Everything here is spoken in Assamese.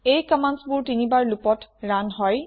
এই কম্মান্দবোৰ ৩বাৰ loopত ৰুণ হয়